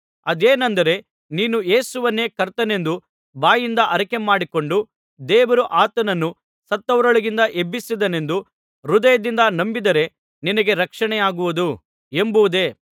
ಅದೇನೆಂದರೆ ನೀನು ಯೇಸುವನ್ನೇ ಕರ್ತನೆಂದು ಬಾಯಿಂದ ಅರಿಕೆಮಾಡಿಕೊಂಡು ದೇವರು ಆತನನ್ನು ಸತ್ತವರೊಳಗಿಂದ ಎಬ್ಬಿಸಿದನೆಂದು ಹೃದಯದಿಂದ ನಂಬಿದರೆ ನಿನಗೆ ರಕ್ಷಣೆಯಾಗುವುದು ಎಂಬುದೇ